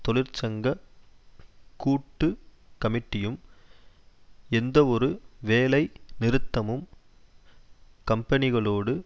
தொழிற்சங்க கூட்டு கமிட்டியும் எந்தவொரு வேலை நிறுத்தமும் கம்பனிகளோடு